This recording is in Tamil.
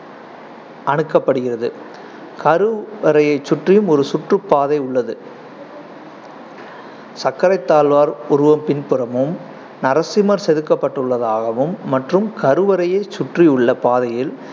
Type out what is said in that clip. அணுக்கப்படுகிறது கருவறையைச் சுற்றி ஒரு சுற்றுப் பாதை உள்ளது சக்கரத்தாழ்வார் உருவம் பின்புறமும் நரசிம்மர் செதுக்கப்பட்டுள்ளதாகவும் மற்றும் கருவறையைச் சுற்றியுள்ள பாதையில்